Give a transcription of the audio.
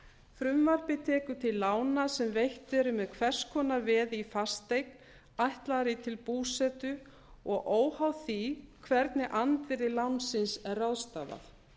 frumvarpið tekur til lána sem veitt eru með hvers konar veði í fasteign ætlaðri til búsetu og óháð því hvernig andvirði lánsins er ráðstafað